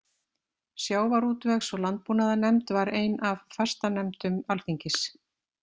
Sjávarútvegs- og landbúnaðarnefnd var ein af fastanefndum Alþingis.